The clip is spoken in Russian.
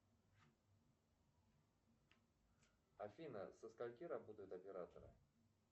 афина со скольки работают операторы